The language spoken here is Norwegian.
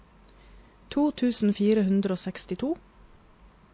to tusen fire hundre og sekstito